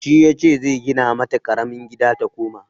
Shi yace zai gina mata ƙaramin gida ta koma.